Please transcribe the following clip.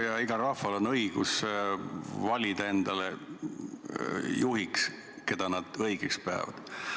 Jah, igal rahval on õigus valida endale juhiks, keda nad õigeks peavad.